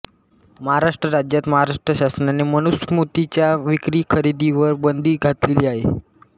महाराष्ट्र राज्यात महाराष्ट्र शासनाने मनुस्मृतीच्या विक्रीखरेदीवर बंदी घातलेली आहे